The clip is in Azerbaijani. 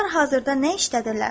Onlar hazırda nə işləyirlər?